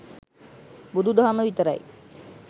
බුදු දහම විතරයි